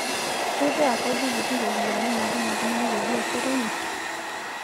Keitaa kodi kiti iropiyiani naatum oltung'ani te biashara enye.